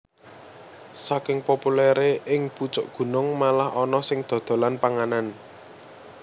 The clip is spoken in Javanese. Saking populèré ing pucuk gunung malah ana sing dodolan panganan